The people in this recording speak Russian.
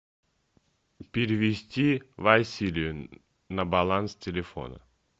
перевести василию на баланс телефона